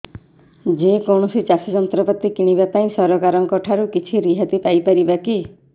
ଯେ କୌଣସି ଚାଷ ଯନ୍ତ୍ରପାତି କିଣିବା ପାଇଁ ସରକାରଙ୍କ ଠାରୁ କିଛି ରିହାତି ପାଇ ପାରିବା କି